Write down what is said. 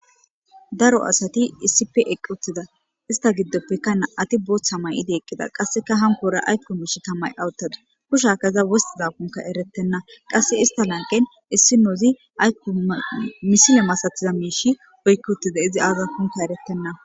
Daro asati issipe eqqi uttida ista giddope na'ati booththa mayidi eqqida qasseka hankoran ayko miishsheta mayada uttadus kushiyaka iza wostidakoka erettenna qasse ista lanqqen issinozi aykko misile masatiza miishi oykkidi uttidi izia aaza oykkidi uttidakonne eretena.